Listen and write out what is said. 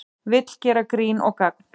Vill gera grín og gagn